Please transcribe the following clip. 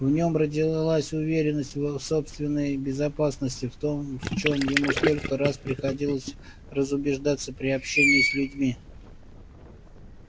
в нем родилась уверенность в собственной безопасности в том в чем ему столько раз приходилось разубеждаться при общении с людьми